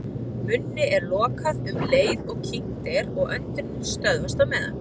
Munni er lokað um leið og kyngt er og öndunin stöðvast á meðan.